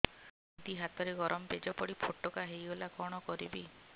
ଦିଦି ହାତରେ ଗରମ ପେଜ ପଡି ଫୋଟକା ହୋଇଗଲା କଣ କରିବି